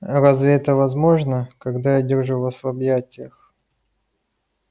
разве это возможно когда я держу вас в объятиях